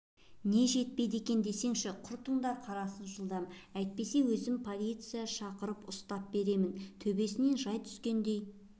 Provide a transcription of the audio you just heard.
не жетпейді екен десеңші құртыңдар қарасын жылдам әйтпесе өзім полиция шақырып ұстап беремін төбесінен жай түскендей